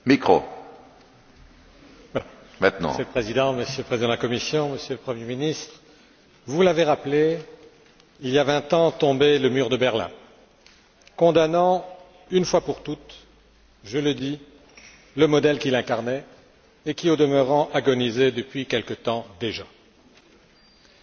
Monsieur le Président, Monsieur le Président de la Commission, Monsieur le Premier ministre, vous l'avez rappelé, il y a vingt ans tombait le mur de Berlin, condamnant une fois pour toutes le modèle qu'il incarnait et qui, au demeurant, agonisait depuis quelques temps déjà. La tentation était trop grande dans ce contexte